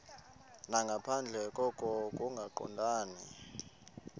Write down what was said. nangaphandle koko kungaqondani